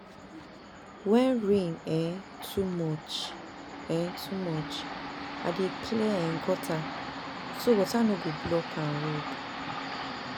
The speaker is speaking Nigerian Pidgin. When rain um too much, um too much, I dey clear um gutter so water no go block um road.